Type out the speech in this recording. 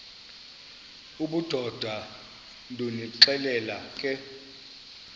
obudoda ndonixelela ke